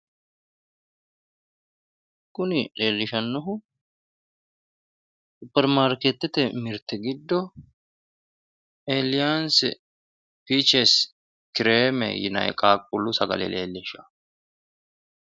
Kuni leellishannohu supermaarketete mirte giddo eelliyaanssi pichers kireeme yinanni qaaquullu sagale leellishanno.